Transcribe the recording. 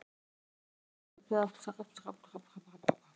Er samsvarandi orð um júða til í öðrum tungumálum?